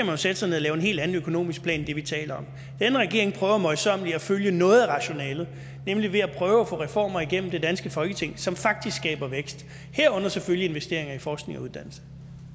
jo sætte sig ned og lave en helt anden økonomisk plan end det vi taler om denne regering prøver møjsommeligt at følge noget af rationalet nemlig ved at prøve at få reformer igennem det danske folketing som faktisk skaber vækst herunder selvfølgelig investeringer i forskning og uddannelse